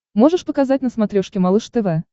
можешь показать на смотрешке малыш тв